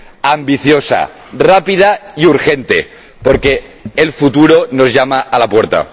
Ambiciosa, rápida y urgente, porque el futuro nos llama a la puerta.